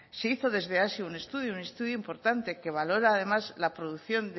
se hizo desde azti un estudio un estudio importante que valora además la producción